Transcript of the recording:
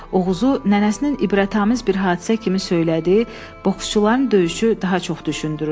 Oğuzu nənəsinin ibrətamiz bir hadisə kimi söylədiyi boksçuların döyüşü daha çox düşündürürdü.